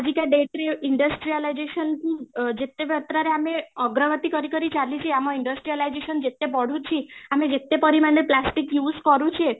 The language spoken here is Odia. ଆଜିକା date ରେ industrialization କୁ ଯେତେ ମାତ୍ରା ରେ ଆମେ ଅଗ୍ରଗତି କରି କରି ଚାଲିଛି ଆମ industrialization ଯେତେ ବଢୁଛି, ଆମେ ଯେତେ ପରିମାଣରେ plastic use କରୁଛେ